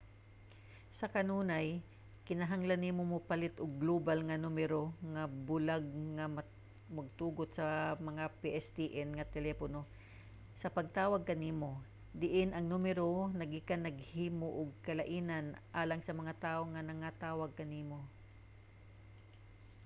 sa kanunay kinahanglan nimo mopalit og global nga numero nga bulag nga magtugot sa mga pstn nga telepono sa pagtawag kanimo. diin ang numero naggikan naghimo og kalainan alang sa mga tawo nga nagatawag kanimo